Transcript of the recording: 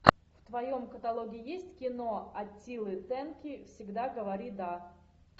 в твоем каталоге есть кино аттилы тенки всегда говори да